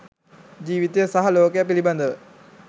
ජීවිතය සහ ලෝකය පිළිබඳව